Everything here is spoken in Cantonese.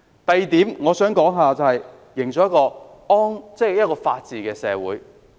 第二點，我想談談營造一個法治社會的重要性。